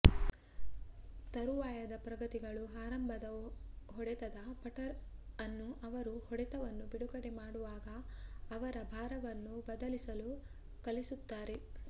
ತರುವಾಯದ ಪ್ರಗತಿಗಳು ಆರಂಭದ ಹೊಡೆತದ ಪಟರ್ ಅನ್ನು ಅವರು ಹೊಡೆತವನ್ನು ಬಿಡುಗಡೆ ಮಾಡುವಾಗ ಅವರ ಭಾರವನ್ನು ಬದಲಿಸಲು ಕಲಿಸುತ್ತಾರೆ